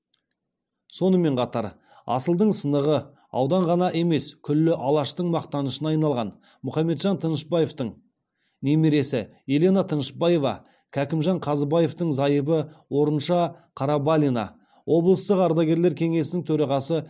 сонымен қатар асылдың сынығы аудан ғана емес күллі алаштың мақтанышына айналған мұхаметжан тынышпаевтің немересі елена тынышпаева кәкімжан қазыбаевтің зайыбы орынша қарабалина облыстық ардагерлер кеңесінің төрағасы